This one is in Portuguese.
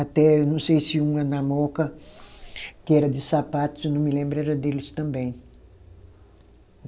Até, eu não sei se uma, na Mooca, que era de sapatos, eu não me lembro, era deles também.